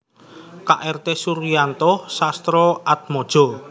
K R T Suryanto Sastroatmojo